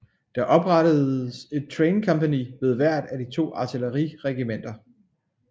Der oprettes et traincompagni ved hvert af de to artilleriregimenter